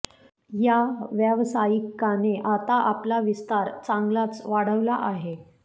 या व्यावसायिकाने आता आपला विस्तार चांगलाच वाढवला आहे